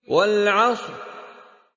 وَالْعَصْرِ